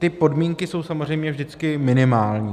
Ty podmínky jsou samozřejmě vždycky minimální.